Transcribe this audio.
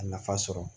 A nafa sɔrɔ